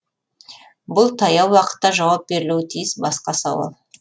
бұл таяу уақытта жауап берілуі тиіс басқа сауал